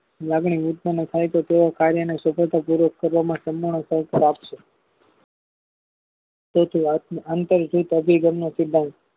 લાગણી ઉત્પન થાયતો તેઓ કાર્યને સફળતા પૂર્વક સભામાં સહકાર આપશે તેથી આત્મ આંતર દ્રુત અભિગમનો સિદ્ધાંત